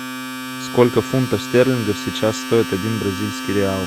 сколько фунтов стерлингов сейчас стоит один бразильский реал